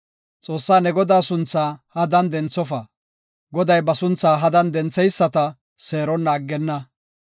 “Xoossaa ne Godaa sunthaa hadan denthofa. Goday ba sunthaa hadan dentheyisata seeronna aggenna.